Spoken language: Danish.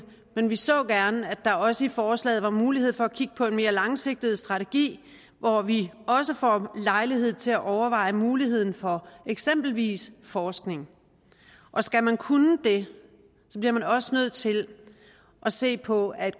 men vi så gerne at der også i forslaget var mulighed for at kigge på en mere langsigtet strategi hvor vi også får lejlighed til overveje muligheden for eksempelvis forskning og skal man kunne det bliver man også nødt til at se på at